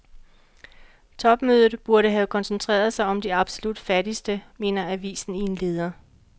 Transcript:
Topmødet burde have koncentreret sig om de absolut fattigste, mener avisen i en leder.